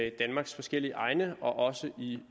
i danmarks forskellige egne og også i